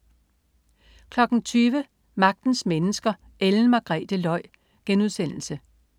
20.00 Magtens Mennesker: Ellen Margrethe Løj*